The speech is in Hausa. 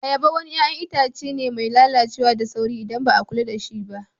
Ayaba wani yayan Itace be mai lallacewa da sauri, idan ba kulla da shi ba